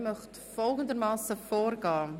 Ich möchte folgendermassen vorgehen: